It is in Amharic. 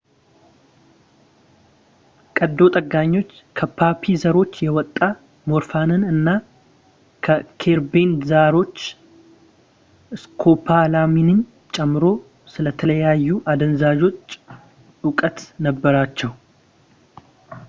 ቀዶ ጠጋኞች ከፖፒ ዘሮች የወጣ ሞርፊንን እና ከኸርቤን ዘሮች ስኮፖላሚንን ጨምሮ ስለተለያዩ አደንዛዦች ዕውቀት ነበራቸው